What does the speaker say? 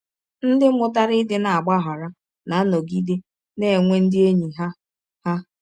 Ndị mụtara ịdị na - agbaghara na - anọgide na - enwe ndị enyi ha. ha.